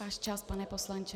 Váš čas, pane poslanče.